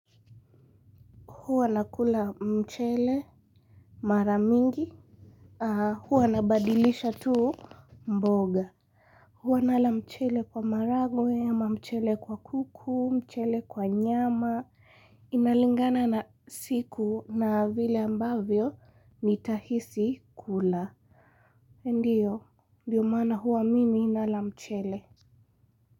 Huwa nakula mchele mara mingi. Haa huwa nabadilisha tu mboga. Huwa nala mchele kwa maragwe, ama mchele kwa kuku, mchele kwa nyama. Inalingana na siku na vile ambavyo nitahisi kula. Ndiyo, ndio maana huwa mimi nala mchele.